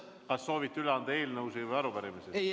Kas soovite üle anda eelnõusid või arupärimisi?